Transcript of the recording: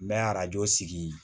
N bɛ arajo sigi